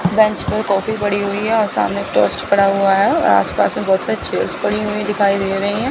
Bench पर coffee पड़ी हुई हैं और सामने टोस्ट पड़ा हुआ हैं और आस पास बहोत सारी चेयर्स पड़ी हुई दिखाई दे रही है।